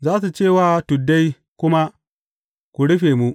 Za su ce wa tuddai kuma, Ku rufe mu!